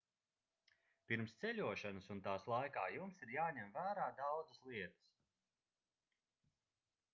pirms ceļošanas un tās laikā jums ir jāņem vērā daudzas lietas